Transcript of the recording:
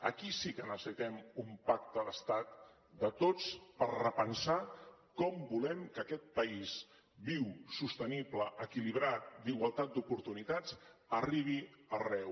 aquí sí que necessitem un pacte d’estat de tots per repensar com volem que aquest país viu sostenible equilibrat d’igualtat d’oportunitats arribi arreu